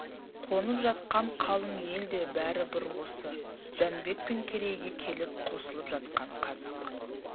қонып жатқан қалың ел де бәрі бір осы жәнібек пен керейге келіп қосылып жатқан қазақ